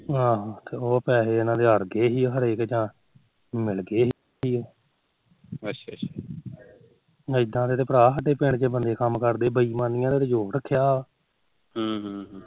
ਆਹੋ ਤੇ ਉਹ ਪੈਹੇ ਇਹਨਾ ਦੇ ਆੜਗੇ ਸੀ ਜਾ ਮਿਲਗੇ ਸੀ ਅੱਛਾ ਅੱਛਾ ਇਦਾ ਦੇ ਤਾ ਬੰਦੇ ਸਾਡੇ ਪਿੰਡ ਚ ਕੰਮ ਕਰਦੇ ਬੇਈਮਾਨੀ ਤੇ ਜੋਰ ਰੱਖਿਆ